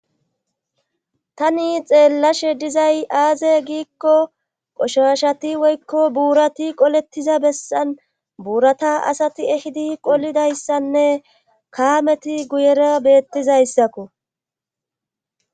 Tani xeellashe dizay aaze giikko qoshashati woykko buurati qolettiza bessan buurata asati ehidi qolidayssanne kaameti guyera beettizayssakko.